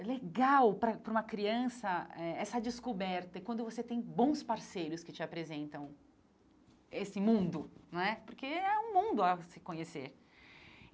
é legal para para uma criança eh essa descoberta, e quando você tem bons parceiros que te apresentam esse mundo não é, porque é um mundo a se conhecer.